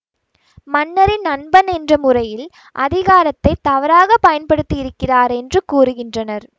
மன்னரின் நண்பன் என்ற முறையில் அதிகாரத்தை தவறாக பயன்படுத்தியிருக்கிறார் என்று கூறுகின்றனர்